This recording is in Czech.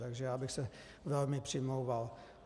Takže já bych se velmi přimlouval.